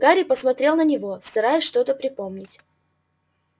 гарри посмотрел на него стараясь что-то припомнить